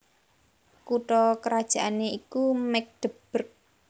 Kutha krajané iku Magdeburg